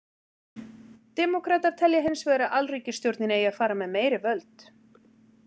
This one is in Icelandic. Demókratar telja hins vegar að alríkisstjórnin eigi að fara með meiri völd.